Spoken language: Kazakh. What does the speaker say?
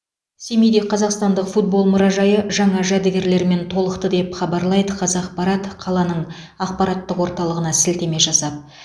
семейде қазақстандық футбол мұражайы жаңа жәдігерлермен толықты деп хабарлайды қазақпарат қаланың ақпараттық орталығына сілтеме жасап